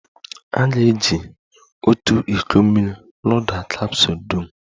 A ga-eji otu iko mmiri loda kapsụl dum.